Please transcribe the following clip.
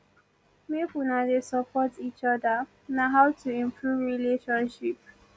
make una dey support eachoda na how to improve relationship